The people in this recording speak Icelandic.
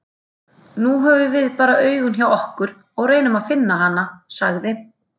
Nú höfum við bara augun hjá okkur og reynum að finna hana, sagði